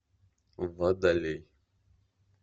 водолей